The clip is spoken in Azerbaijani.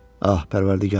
Ah Pərvərdigara!